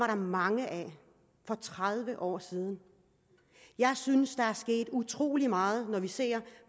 der mange af for tredive år siden jeg synes der er sket utrolig meget når vi ser